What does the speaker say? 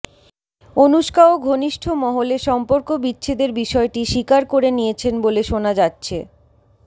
অনুষ্কাও ঘনিষ্ঠ মহলে সম্পর্ক বিচ্ছেদের বিষয়টি স্বীকার করে নিয়েছেন বলে শোনা যাচ্ছে